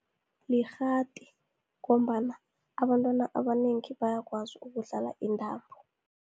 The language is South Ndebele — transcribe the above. Likghati, ngombana abantwana abanengi bayakwazi ukudlala intambo.